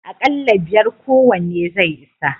Akalla biyar kowanne zai isa.